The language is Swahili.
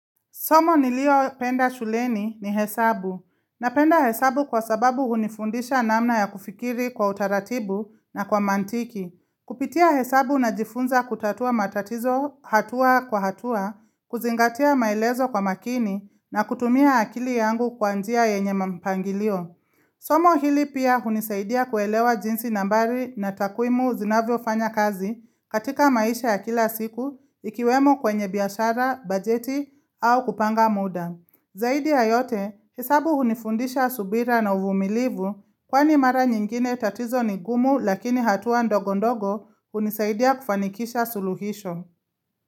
Somo nilio penda shuleni ni hesabu, na penda hesabu kwa sababu hunifundisha namna ya kufikiri kwa utaratibu na kwa mantiki. Kupitia hesabu na jifunza kutatua matatizo hatua kwa hatua, kuzingatia maelezo kwa makini na kutumia akili yangu kwa njia yenye mapangilio. Somo hili pia hunisaidia kuelewa jinsi nambari na takwimu zinavyo fanya kazi katika maisha ya kila siku ikiwemo kwenye biashara, bajeti au kupanga muda. Zaidi ya yote, hesabu hunifundisha subira na uvumilivu kwani mara nyingine tatizo nigumu lakini hatua ndogondogo hunisaidia kufanikisha suluhisho.